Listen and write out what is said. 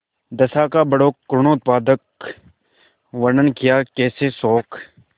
दशा का बड़ा करूणोत्पादक वर्णन कियाकैसे शोक